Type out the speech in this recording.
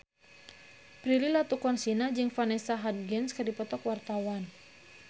Prilly Latuconsina jeung Vanessa Hudgens keur dipoto ku wartawan